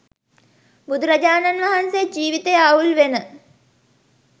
බුදුරජාණන් වහන්සේ ජීවිතය අවුල් වෙන